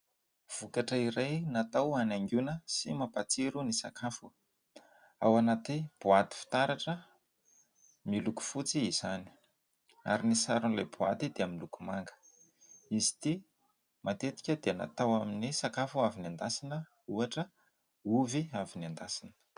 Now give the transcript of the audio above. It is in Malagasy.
Vokatra iray natao hanaingoana sy mampatsiro ny sakafo. Ao anaty boaty fitaratra miloko fotsy izany ary ny saron'ilay boaty dia miloko manga. Izy ity matetika dia natao amin'ny sakafo avy nendasina. Ohatra, ovy avy nendasina.